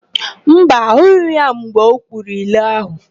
Mba, ahụghị m ya mgbe o kwuru ilu áhụ̀.